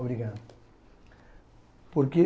Obrigado. Porque